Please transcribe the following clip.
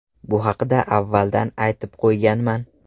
Bu haqda avvaldan aytib qo‘yganman.